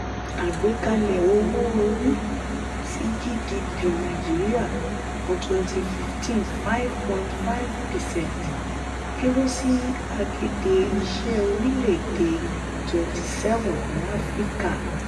àgbékalẹ̀ owó-orí sí gdp nàìjíríà fún twenty fifteen ( five point five percent) kéré sí agede-iṣe orílè èdè twenty seven ní áfíríkà.